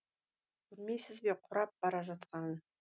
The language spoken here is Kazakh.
көрмейсіз бе қурап бара жатқанын